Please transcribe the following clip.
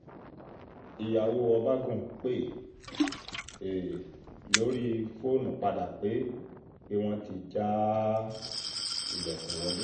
ìyàwó ọbagun pè um lórí fóònù padà pé pé wọ́n ti já um ilẹ̀kùn wọ̀lé